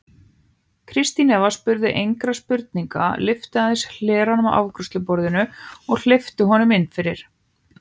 Kristín Eva spurði engra spurninga, lyfti aðeins hleranum á afgreiðsluborðinu og hleypti honum inn fyrir.